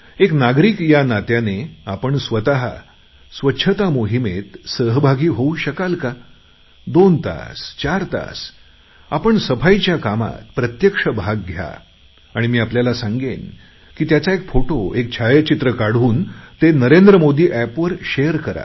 एक नागरिक या नात्याने आपण स्वतः स्वच्छता मोहिमेत सहभागी होऊ शकाल का दोन तास चार तास आपण सफाईच्या कामात प्रत्यक्ष भाग घ्या आणि मी आपल्याला सांगेन की त्याचा एक फोटो एक छायाचित्र काढून नरेंद्र मोदी एपवर ते शेअर करा